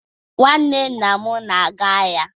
Nnwanne nna m na-aga ahịa.